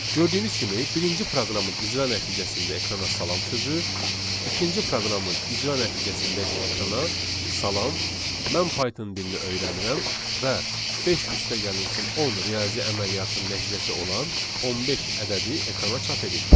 Gördüyünüz kimi birinci proqramın icra nəticəsində ekrana salam sözü, ikinci proqramın icra nəticəsində isə ekrana salam, mən Python dilini öyrənirəm və beş üstəgəlsin on riyazi əməliyyatın nəticəsi olan on beş ədədi ekrana çap edildi.